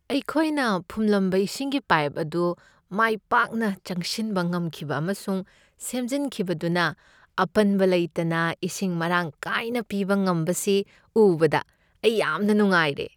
ꯑꯩꯈꯣꯏꯅ ꯐꯨꯝꯂꯝꯕ ꯏꯁꯤꯡꯒꯤ ꯄꯥꯏꯞ ꯑꯗꯨ ꯃꯥꯏ ꯄꯥꯛꯅ ꯆꯪꯁꯤꯟꯕ ꯉꯝꯈꯤꯕ ꯑꯃꯁꯨꯡ ꯁꯦꯝꯖꯤꯟꯈꯤꯕꯗꯨꯅ ꯑꯄꯟꯕ ꯂꯩꯇꯅ ꯏꯁꯤꯡ ꯃꯔꯥꯡ ꯀꯥꯏꯅ ꯄꯤꯕ ꯉꯝꯕꯁꯤ ꯎꯕꯗ ꯑꯩ ꯌꯥꯝꯅ ꯅꯨꯡꯉꯥꯏꯔꯦ ꯫